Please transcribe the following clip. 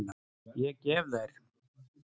Ég gef þær.